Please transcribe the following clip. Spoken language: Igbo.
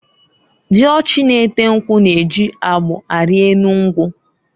Diochi na-ete nkwu na-eji agbụ ari enu nkwu.